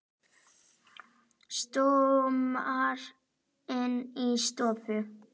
Stormar inn í stofu.